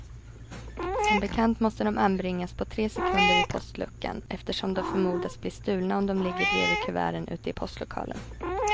Som bekant måste de anbringas på tre sekunder vid postluckan, eftersom de förmodas bli stulna om de ligger bredvid kuverten ute i postlokalen.